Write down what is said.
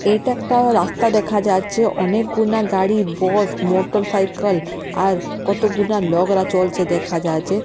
এটা একটা রাস্তা দেখা যাচ্ছে অনেকগুনা গাড়ি বস মোটরসাইকেল আর কতগুলা লগরা চলছে দেখা যাচ্ছে।